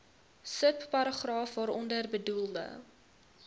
subparagraaf waaronder bedoelde